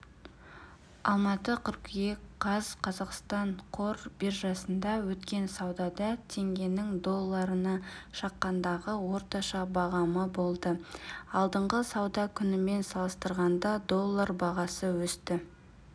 алматы қыркүйек қаз қазақстан қор биржасында өткен саудада теңгенің долларына шаққандағы орташа бағамы болды алдыңғы сауда күнімен салыстырғанда доллар бағасы өсті